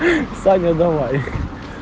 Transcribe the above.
ха-ха саня давай